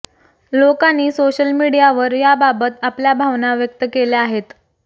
लोकांनी सोशल मीडियावर याबाबत आपल्या भावना व्यक्त केल्या आहेत